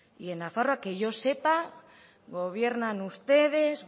y en nafarroa que yo sepa gobiernan ustedes